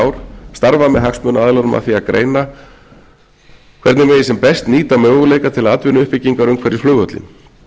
ár starfað með hagsmunaaðilunum að því að greina hvernig megi sem best nýta möguleika til atvinnuuppbyggingar umhverfis flugvöllinn